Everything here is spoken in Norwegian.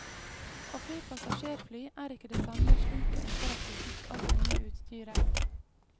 Å fly passasjerfly er ikke det samme slitet etter at vi fikk alt det nye utstyret.